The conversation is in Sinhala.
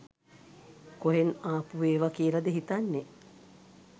කොහෙන් ආපු ඒවා කියලද හිතන්නෙ